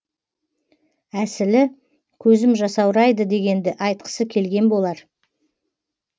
әсілі көзім жасаурайды дегенді айтқысы келген болар